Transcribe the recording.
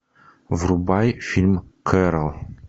врубай фильм кэрол